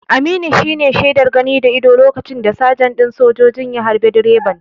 Aminu shine shaidar gani da idon lokacin da sajan ɗin sojojin ya harbe direban.